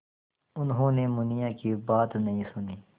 उन्होंने मुनिया की बात नहीं सुनी